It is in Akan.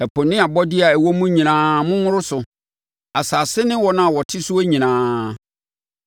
Ɛpo ne abɔdeɛ a ɛwɔ mu nyinaa monworo so; asase ne wɔn a wɔte soɔ nyinaa.